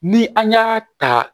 Ni an y'a ta